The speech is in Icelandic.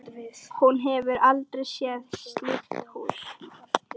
Hún hefur aldrei séð slíkt hús.